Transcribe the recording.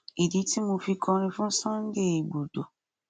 ìdí tí mo fi kọrin fún sunday igbodò